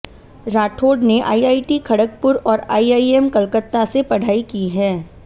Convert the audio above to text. राठौड़ ने आईआईटी खड़गपुर और आईआईएम कलकत्ता से पढ़ाई की है